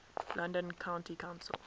london county council